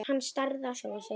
Hann starði á sjálfan sig.